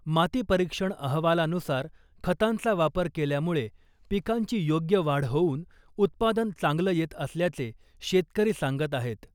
माती परीक्षण अहवालानुसार खतांचा वापर केल्यामुळे पिकांची योग्य वाढ होऊन उत्पादन चांगलं येत असल्याचे शेतकरी सांगत आहेत .